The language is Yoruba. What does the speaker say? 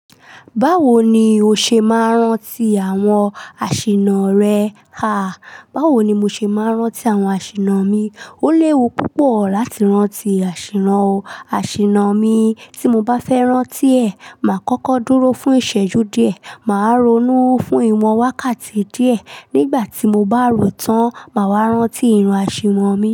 Báwo ni o ṣe máa ń rántí àwọn àsìnà rẹ? Ha! Báwo ni mo ṣe máa ń rántí àwọn àsìnà mi? Ó léwu púpọ̀ láti rántí àsìnà o. Àsìnà mi, tí mo bá fẹ́ rántí ẹ̀, màá kọ́kọ́ dúró fún ìṣẹ́jú díẹ̀, màá ronú fún ìwọ̀n wákàtí díẹ̀ nígbà tí mo bá rò tán, màá wá rántí ìran àsìnà mi.